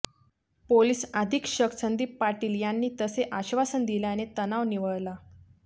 police अधिक्षक संदीप पाटील यांनी तसे आश्वासन दिल्याने तणाव निवळला